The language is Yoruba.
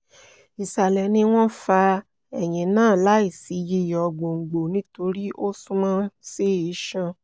isalẹ ni wọn fa eyin naa laisi yiyọ gbongbo nitori o sunmọ si iṣan